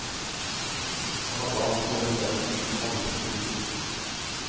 Jeg hadde altså denne vennen, som alle forgudet.